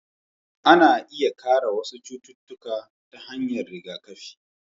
Ana iya kare wasu cututtuka ta hanyar rigakafi,